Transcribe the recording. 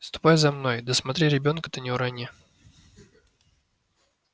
ступай за мной да смотри ребёнка-то не урони